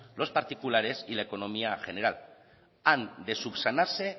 los particulares y la economía general han de subsanarse